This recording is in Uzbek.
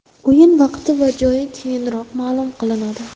O‘yin vaqti va joyi keyinroq ma’lum qilinadi.